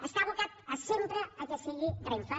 està abocada sempre que sigui renfe